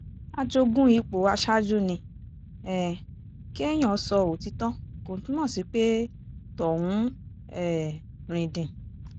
a jogún ipò aṣáájú ni um kéèyàn sọ òtítọ́ kò túmọ̀ sí pé tọ̀hún um rìndìn